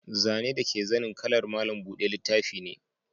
Zane dake zanin ƙalar malam buɗe littafi ne.